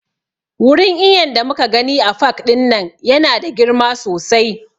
Wurin iyon da muka gani a pak ɗin ya na da girma sosai